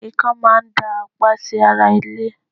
ikán máa ń dá àpá sí ara ilé